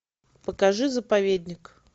покажи заповедник